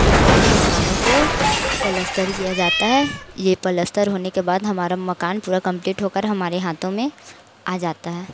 ऊपर के मकानों को पलस्तर किया जाता है ये पलस्तर होने के बाद हमारा मकान पूरा कंप्लीट हो कर हमारे हाथों में आ जाता है।